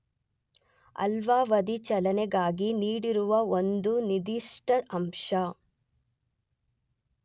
ಅಲ್ಪಾವಧಿ ಚಲನೆಗಾಗಿ ನೀಡಿರುವ ಒಂದು ನಿರ್ಧಿಷ್ಟ ಅಂಶ